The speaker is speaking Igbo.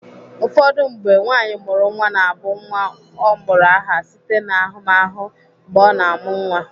Ụfọdụ mgbe, nwaanyị mụrụ nwa na-abụ nwa ọ mụrụ aha site n'ahụmahụ mgbe ọ na-amụ nwa.